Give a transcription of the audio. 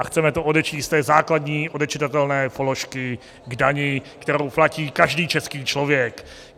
A chceme to odečíst z té základní odečitatelné položky k dani, kterou platí každý český člověk.